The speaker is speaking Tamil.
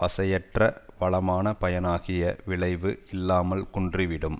வசையற்ற வளமான பயனாகிய விளைவு இல்லாமல் குன்றி விடும்